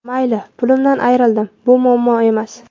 Mayli, pulimdan ayrildim, bu muammo emas.